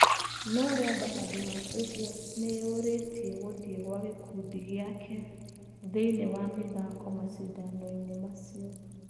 No Rwanda handũha ũguo nĩyũrĩtie gũthiĩ gwa gĩkundi gĩake thĩinĩĩ wa mithako macindanoinĩ macio.